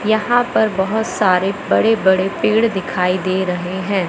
यहां पर बहोत सारे बड़े बड़े पेड़ दिखाई दे रहे हैं।